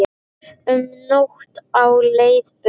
Um nótt á leið burt